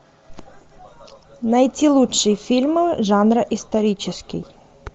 найти лучшие фильмы жанра исторический